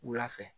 Wula fɛ